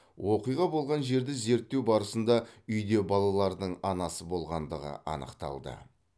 оқиға болған жерді зерттеу барысында үйде балалардың анасы болғандығы анықталды